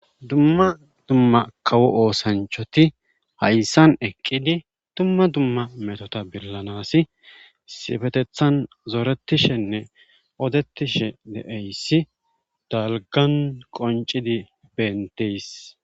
Dumma dumma kawo oosanchoti hayssan eqqidi dumma dumma metota billanasi sifetethan zoretishenne odetishe de7eyssi dalgan qoncidi benteys.